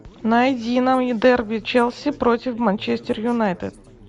найди нам дерби челси против манчестер юнайтед